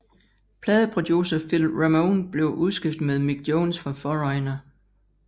Pladeproducer Phil Ramone blev udskiftet med Mick Jones fra Foreigner